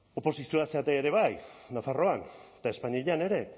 oposizioa zarete ere bai nafarroan eta espainian ere